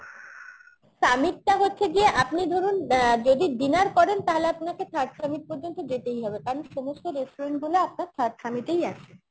summit টা হচ্ছে গিয়ে আপনি ধরুন অ্যাঁ যদি dinner করেন তাহলে আপনাকে third summit পর্যন্ত যেতেই হবে কারণ সমস্ত restaurant গুলো আপনার third summit এই আছে